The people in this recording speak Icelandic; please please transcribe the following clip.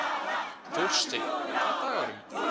Þórsteinn, hvaða dagur er í dag?